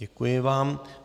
Děkuji vám.